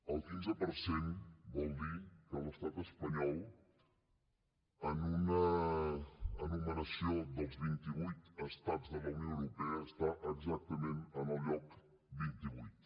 el quinze per cent vol dir que l’estat espanyol en una enumeració dels vint i vuit estats de la unió europea està exactament en el lloc vint i vuit